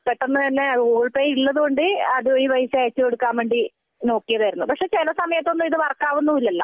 പെട്ടെന്ന് തന്നെ Google Pay ഉള്ളത് കൊണ്ട് പെട്ടെന്ന് തന്നെ പൈസ അയച്ചുകൊടുക്കാൻ നോക്കിയതായിരുന്നു പക്ഷെ ചില സമയത്തൊന്നും ഇത് വർക്ക് ആവുന്നുമില്ലല്ലോ